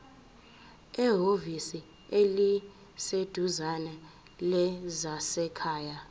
ehhovisi eliseduzane lezasekhaya